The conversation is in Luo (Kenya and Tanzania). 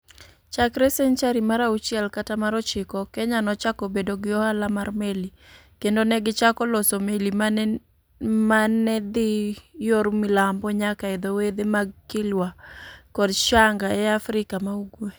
Chakre senchari mar auchiel kata mar ochiko, Kenya nochako bedo gi ohala mar meli, kendo ne gichako loso meli ma ne dhi yor milambo nyaka e dho wedhe mag Kilwa kod Shanga e Afrika ma Ugwe.